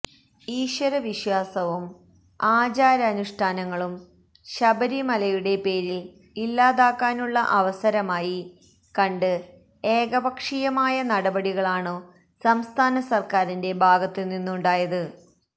ഈശ്വരവിശ്വാസവും ആചാരാനുഷ്ഠാനങ്ങളും ശബരിമലയുടെ പേരില് ഇല്ലാതാക്കാനുള്ള അവസരമായി കണ്ട് ഏകപക്ഷീയമായ നടപടികളാണു സംസ്ഥാന സര്ക്കാരിന്റെ ഭാഗത്തു നിന്നുണ്ടായത്